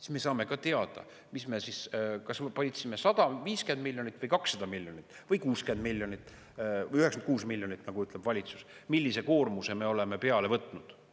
Siis me saame ka teada, kas me võtsime peale 150 miljonit või 200 miljonit või 60 miljonit või 96 miljonit, nagu ütleb valitsus, millise koormuse me oleme peale võtnud.